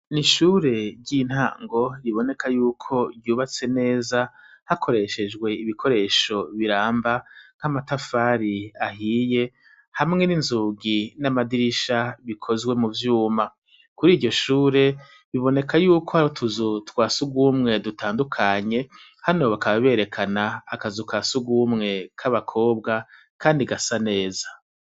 Ni shure ry'intango riboneka yuko ryubatse neza hakoreshejwe ibikoresho biramba nk'amatafari ahiye hamwe n'inzugi n'amadirisha bikozwe mu vyuma kuri iryo shure biboneka yuko harotuzu twa si ugumwe dutandukanye hanobaka babera rekana akazu ka sugumwe k'abakobwa, kandi gasa neza.